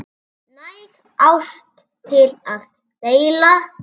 Næg ást til að deila.